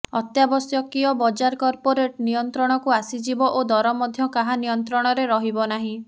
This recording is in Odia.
ଅତ୍ୟାବଶ୍ୟକୀୟ ବଜାର କର୍ପୋରେଟ ନିୟନ୍ତ୍ରଣକୁ ଆସିଯିବ ଓ ଦର ମଧ୍ୟ କାହା ନିୟନ୍ତ୍ରଣରେ ରହିବ ନାହିଁ